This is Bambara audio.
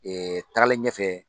tagalen ɲɛfɛ